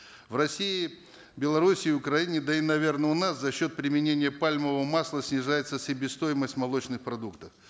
в россии белоруссии украине да и наверно у нас за счет применения пальмового масла снижается себестоимость молочных продуктов